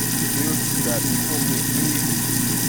bi o ti dabi fun mi pe alaisan rẹ n jiya lati ikolu lẹhin ikolu